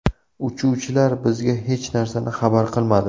Uchuvchilar bizga hech narsani xabar qilmadi.